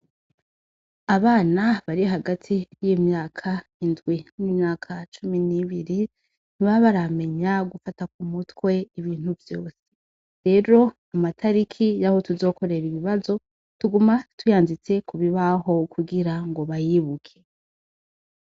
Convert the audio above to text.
Abana bari hagati y'imyaka indwi n'imyaka cumi n'ibiri, ntibaba baramenya gufata k'umutwe ibintu vyose, rero amatariki yaho tuzokorera ibibazo tuguma tuyanditse kubibaho kugirango bayibuke.